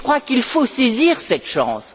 Mais je crois qu'il faut saisir cette chance.